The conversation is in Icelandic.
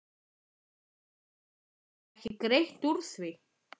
En geturðu ekki greitt úr því?